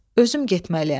Özüm getməliyəm.